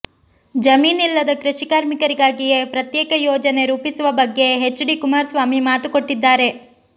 ಜಮೀನಿಲ್ಲದ ಕೃಷಿ ಕಾರ್ಮಿಕರಿಗಾಗಿಯೇ ಪ್ರತ್ಯೇಕ ಯೋಜನೆ ರೂಪಿಸುವ ಬಗ್ಗೆ ಎಚ್ ಡಿ ಕುಮಾರಸ್ವಾಮಿ ಮಾತು ಕೊಟ್ಟಿದ್ದಾರೆ